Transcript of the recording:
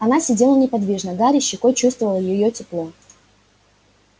она сидела неподвижно гарри щекой чувствовал её тепло